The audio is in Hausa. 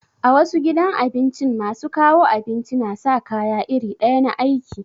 A wasu gidan abincin masu kawo abinci na sa kaya iri ɗaya na aiki.